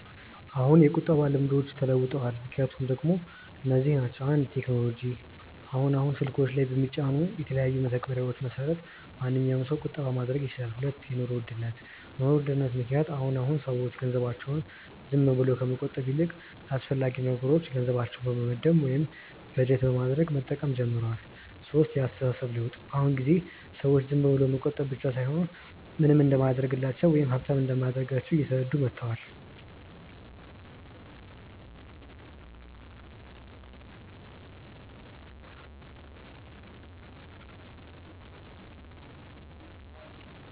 አዎ የቁጠባ ልምዶች ተለውጠዋል። ምክንያቶቹ ደሞ እነዚህ ናቸው፦ 1. ቴክኖሎጂ፦ አሁን አሁን ስልኮች ላይ በሚጫኑ የተለያዩ መተግበሪያዎች መሰረት ማንኛዉም ሰው ቁጠባ ማድረግ ይችላል 2. የኑሮ ውድነት፦ በ ኑሮ ውድነት ምክንያት አሁን አሁን ሰዎች ገንዘባቸውን ዝም ብለው ከመቆጠብ ይልቅ ለአስፈላጊ ነገሮች ገንዘባቸውን በመመደብ ወይም በጀት በማድረግ መጠቀም ጀምረዋል 3. የ አስተሳሰብ ለውጥ፦ በ አሁን ጊዜ ሰዎች ዝም ብሎ መቆጠብ ብቻ ምንም እንደማያደርግላቸው ወይም ሃብታም እንደማያደርጋቸው እየተረዱ መተዋል